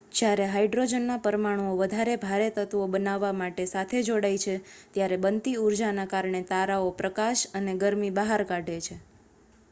જ્યારે હાયડ્રોજનનાં પરમાણુઓ વધારે ભારે તત્વો બનાવવા માટે સાથે જોડાય છે ત્યારે બનતી ઉર્જાના કારણે તારાઓ પ્રકાશ અને ગરમી બહાર કાઢે છે